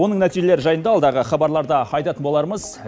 оның нәтижелері жайында алдағы хабарларда айтатын болармыз